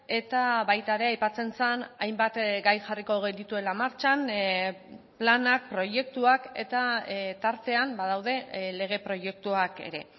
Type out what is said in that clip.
eta baita ere aipatzen zen hainbat gai jarriko genituela martxan planak proiektuak eta tartean badaude lege proiektuak ere